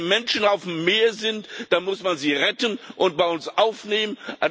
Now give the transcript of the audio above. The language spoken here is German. Wenn die Menschen auf dem Meer sind, muss man sie retten und bei uns aufnehmen.